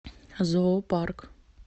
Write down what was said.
зоо парк